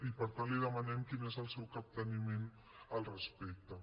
i per tant li demanem quin és el seu capteniment al respecte